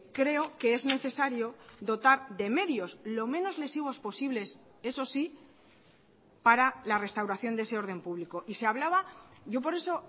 creo que es necesario dotar de medios lo menos lesivos posibles eso sí para la restauración de ese orden público y se hablaba yo por eso